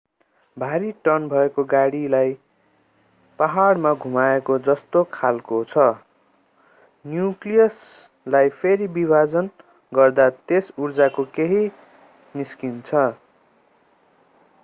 भारी टन्न भएको गाडालाई पहाडमा घुमाएको जस्तो खालको छ न्यूक्लियसलाई फेरि विभाजन गर्दा त्यस ऊर्जाको केही निस्किन्छ